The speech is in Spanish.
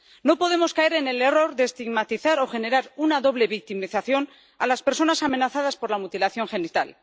No podemos caer en el error de estigmatizar o generar una doble victimización de las personas amenazadas por la mutilación genital.